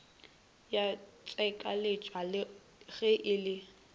ya tshekoleswa ge e le